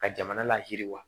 Ka jamana layiriwa